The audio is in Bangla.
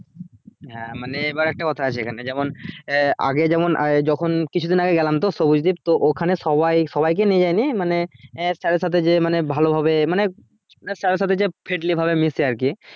হ্যাঁ মানে এবার একটা কথা আছে এখানে যেমন আহ আগে যেমন যখন কিছু দিন আগে গেলাম তো সবুজ দ্বীপ তো ওখানে সবাই সবাই কে নিয়ে যায়নি মানে এ sir এর সাথে যে ভালো ভাবে মানে sir এর সাথে যে friendly ভাবে মেসে আর কি